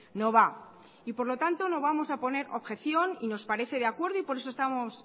no va y por lo tanto no vamos a poner objeción y nos parece de acuerdo y por eso estamos